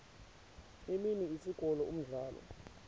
imini isikolo umdlalo